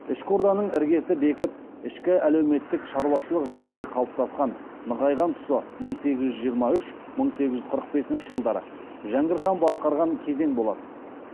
ішкі орданың іргесі бекіп ішкі әлеуметтік шаруашылық жағдайы қалыптасып нығайған тұсы мың сегіз жүз жиырма үш мың сегіз жүз қырық бесінші жылдары жәңгір хан басқарған кезең болатын